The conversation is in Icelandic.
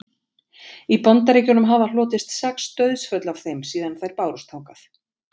í bandaríkjunum hafa hlotist sex dauðsföll af þeim síðan þær bárust þangað